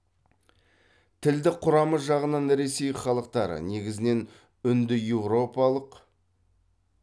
тілдік құрамы жағынан ресей халықтары негізінен үндіеуропалық